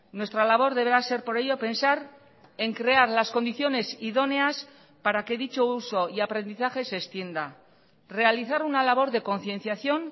nuestra labor deberá ser por ello pensar en crear las condiciones idóneas para que dicho uso y aprendizaje se extienda realizar una labor de concienciación